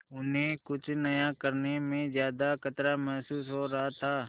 उन्हें कुछ नया करने में ज्यादा खतरा महसूस हो रहा था